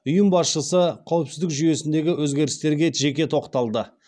ұйым басшысы қауіпсіздік жүйесіндегі өзгерістерге жеке тоқталды